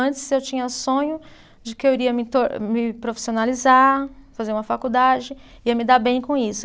Antes eu tinha sonho de que eu iria me tor, me profissionalizar, fazer uma faculdade, ia me dar bem com isso.